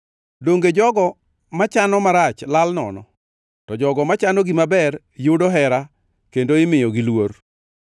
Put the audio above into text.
Donge jogo machano marach lal nono? To jogo machano gima ber yudo hera kendo imiyogi luor.